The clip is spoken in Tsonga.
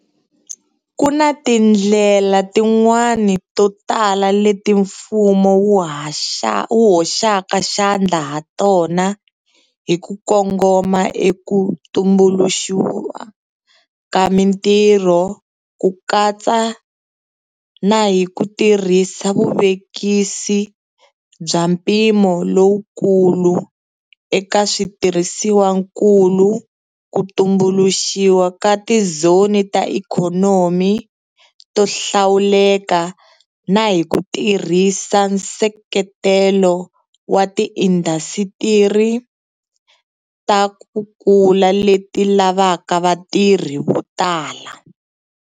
Ku na tindlela tin'wana to tala leti mfumo wu hoxaka xandla hatona hi ku kongoma eka ku tumbuluxiwa ka mitirho, ku katsa na hi ku tirhisa vuvekisi bya mpimo lowukulu eka switirhisiwankulu, ku tumbuluxiwa ka tizoni ta ikhonomi to hlawuleka na hi ku tirhisa nseketelo wa tiindasitiri ta ku kula leti lavaka vatirhi vo tala.